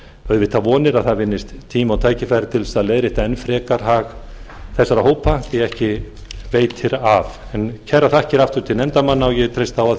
auðvitað vonir að það vinnist tími og tækifæri til að leiðrétta enn frekar hag þessara hópa því ekki veitir af kærar þakkir aftur til nefndarmanna og ég treysti á að